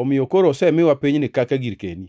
omiyo koro osemiwa pinyni kaka girkeni.’